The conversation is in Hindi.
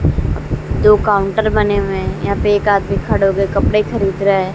दो काउंटर बने हुए हैं यहां पे एक आदमी खड़े हो के कपड़े खरीद रहा है।